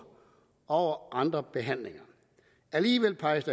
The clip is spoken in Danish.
over andre behandlinger alligevel peges